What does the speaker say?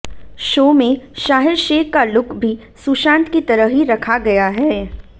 show में शाहीर शेख का look भी सुशांत की तरह ही रखा गया है